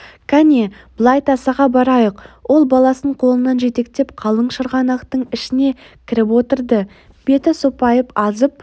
кәне былай тасаға барайық ол баласын қолынан жетектеп қалың шырғанақтың ішіне кіріп отырды беті сопайып азып